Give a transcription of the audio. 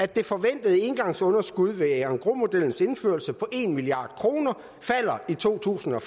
det forventede engangsunderskud ved engrosmodellens indførelse på en milliard kroner falder i to tusind og